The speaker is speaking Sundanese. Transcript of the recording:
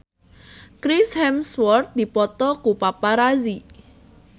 Chris Hemsworth dipoto ku paparazi